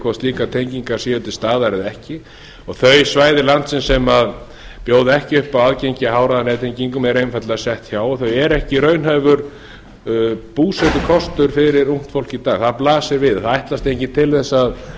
hvort slíkar tengingar séu til staðar eða ekki og þau svæði landsins sem bjóða ekki upp á aðgengi í háhraðanettengingum er einfaldlega sett hjá og þau eru ekki raunhæfur búsetukostur fyrir ungt fólk í dag það blasir við það ætlast enginn til þess að fólk